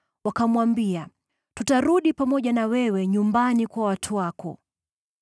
wakamwambia, “Tutarudi pamoja na wewe nyumbani kwa watu wako.”